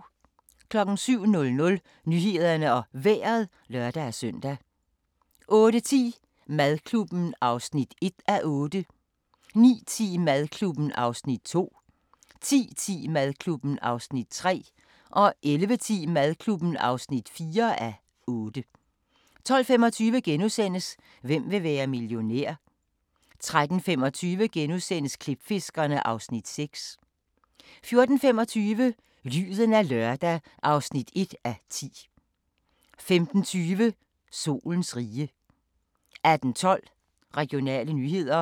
07:00: Nyhederne og Vejret (lør-søn) 08:10: Madklubben (1:8) 09:10: Madklubben (2:8) 10:10: Madklubben (3:8) 11:10: Madklubben (4:8) 12:25: Hvem vil være millionær? * 13:25: Klipfiskerne (Afs. 6)* 14:25: Lyden af lørdag (1:10) 15:20: Solens rige 18:12: Regionale nyheder